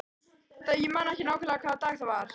Ég man ekki nákvæmlega hvaða dag það var.